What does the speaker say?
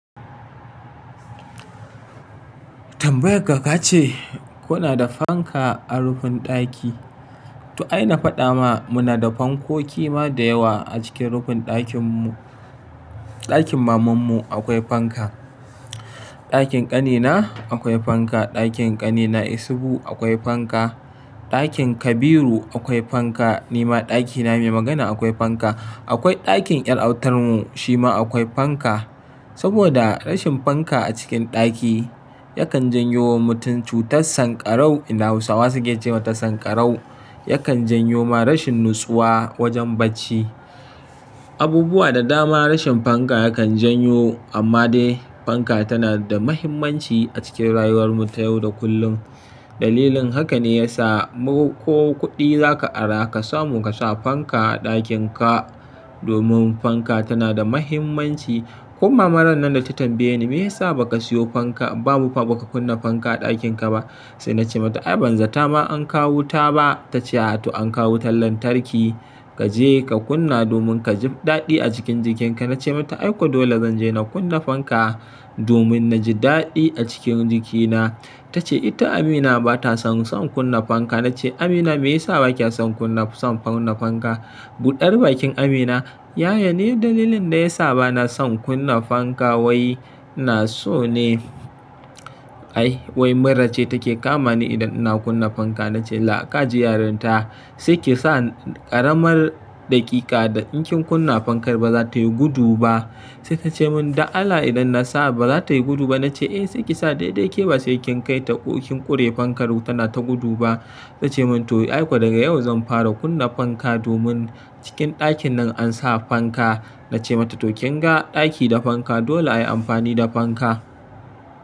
Tambayar ka ka ce kuna da fanka a rufin ɗaki. To ai na faɗa ma muna da fankoki ma da yawa a cikin rufin ɗakin mu. Ɗakin mamanmu akwai fanka, ɗakin ƙanina akwai fanka, ɗakin ƙanina Isuhu akwai fanka, ɗakin Kabiru akwai fanka, nima ɗakina mai magana akwai fanka. Akwai ɗakin ƴar autar mu shi ma akwai fanka. Saboda rashin fanka a cikin ɗaki yakan janyo wa mutum cutar sankarau inda Hausawa suke ce mata sankarau, yakan janyo ma rashin natsuwa wajen bacci. Abubuwa da dama rashin fanka yakan janyo amma dai fanka tana da mahimmanci a cikin rayuwar mu ta yau da kullum. Dalilin haka ne ya sa ko kuɗi za ka ara ka samu ka sa fanka a ɗakin ka domin fanka tana da mahimmanci. Ko mama rannan da ta tambaye ni me yasa ba ka siyo fanka ba ka kunna fanka a ɗakin ka ba? Sai na ce mata ai ban zata ma an kawo wuta ba, ta ce a to an kawo wutar lantarki kaje ka kunna domin ka ji daɗi a cikin jikin ka. Na ce mata ai ko dole zan je na kunna fanka domin na ji daɗi a cikin jikina. Ta ce ita Amina ba ta son kunna fanka. Na ce Amina me yasa ba kya son kunna fanka? Buɗar bakin Amina yaya ni dalilin da ya sa ba na son kunna fanka wai ina so ne ai wai mura ce take kama ni idan ina kunna fanka. Na ce la ka ji yarin ta sai ki sa ƙaramar daƙiƙa da in kin kunna fankar ba za ta yi gudu ba. Sai ta ce mun da Allah idan na sa ba za ta yi gudu ba. Na ce eh sai ki sa daidai ke ba sai kin kai ta ƙure fankar tana ta gudu ba. Ta ce mun to ai ko daga yau zan fara kunna fanka domin cikin ɗakin nan an sa fanka. Na ce mata to kin ga ɗaki da fanka dole ayi amfani da fanka.